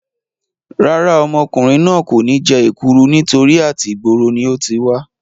Rárá, ọmọkùnrin náà kò ní jẹ èkúru nítorí àti ìgboro ni ó ti wá